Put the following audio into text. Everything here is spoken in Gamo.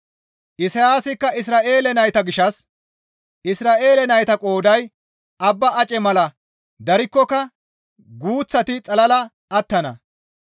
Isayaasikka Isra7eele nayta gishshas, «Isra7eele nayta qooday abba ace mala darikkoka guuththati xalala attana.